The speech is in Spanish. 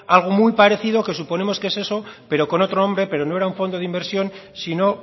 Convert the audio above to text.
algo muy parecido que suponemos que es eso pero con otro nombre pero no era un fondo de inversión sino